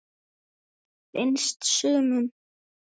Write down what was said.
Finnst sumum.